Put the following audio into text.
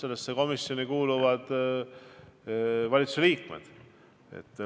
Sellesse komisjoni kuuluvad valitsuse liikmed.